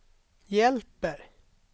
hjälper